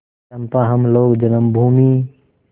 चंपा हम लोग जन्मभूमि